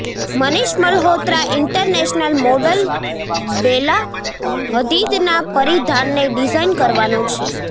Manish Malhotra international model Bella હદીદના પરિધાનને design કરવાનો છે